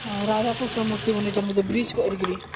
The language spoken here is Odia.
ଆଉ ରାଧା କୃଷ୍ଣ ମୂର୍ତି ବନେଇଛନ୍ତି bridge କରି